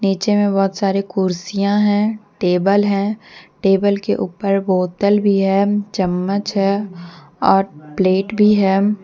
नीचे में बहोत सारे कुर्सियां हैं टेबल है टेबल के ऊपर बोतल भी है चम्मच है और प्लेट भी है।